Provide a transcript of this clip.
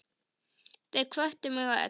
Þau hvöttu mig öll.